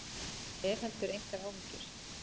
Ég hef heldur engar áhyggjur.